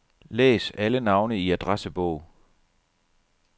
Læs alle navne i adressebog.